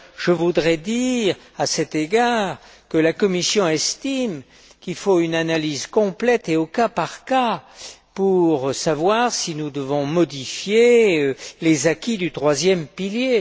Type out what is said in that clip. D'ailleurs, je voudrais dire, à cet égard, que la Commission estime qu'il faut une analyse complète et au cas par cas pour savoir si nous devons modifier les acquis du troisième pilier.